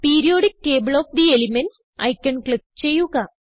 periodic table of the elements icon click ചെയ്യുക